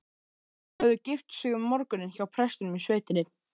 Þau höfðu gift sig um morguninn hjá prestinum í sveitinni.